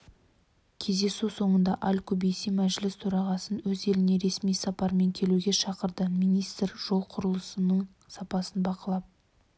кездесу соңында аль-кубейси мәжіліс төрағасын өз еліне ресми сапармен келуге шақырды министр жол құрылысының сапасын бақылап